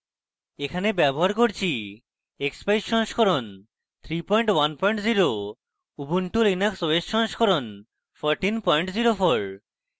এখানে ব্যবহার করছি